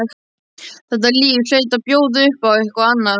Þetta líf hlaut að bjóða upp á eitthvað annað.